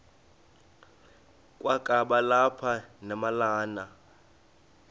kwakaba lapha nemalana